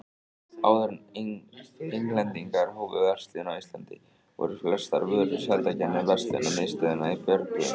Áður en Englendingar hófu verslun á Íslandi, voru flestar vörur seldar gegnum verslunarmiðstöðina í Björgvin.